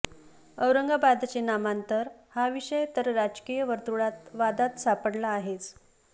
औरंगाबादचे नामांतर हा विषय तर राजकीय वर्तृळात वादात सापाडला आहेच